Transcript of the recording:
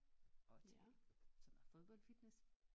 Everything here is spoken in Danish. Og til sådan noget fodboldfitness